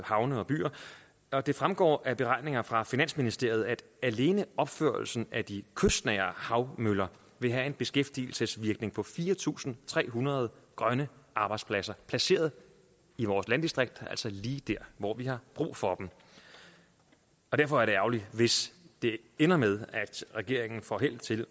havne og byer og det fremgår af beregninger fra finansministeriet at alene opførelsen af de kystnære havmøller vil have en beskæftigelsesvirkning på fire tusind tre hundrede grønne arbejdspladser placeret i vores landdistrikt altså lige der hvor vi har brug for dem derfor er det ærgerligt hvis det ender med at regeringen får held til